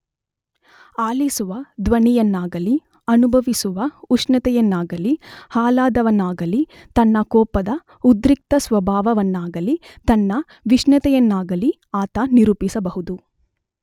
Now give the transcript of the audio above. ಆಲಿಸುವ ಧ್ವನಿಯನ್ನಾಗಲಿ ಅನುಭವಿಸುವ ಉಷ್ಣತೆಯನ್ನಾಗಲಿ ಆಹ್ಲಾದವನ್ನಾಗಲಿ ತನ್ನ ಕೋಪದ ಉದ್ರಿಕ್ತಸ್ವಭಾವವನ್ನಾಗಲಿ ತನ್ನ ವಿಷಣ್ಣತೆಯನ್ನಾಗಲಿ ಆತ ನಿರೂಪಿಸಬಹುದು.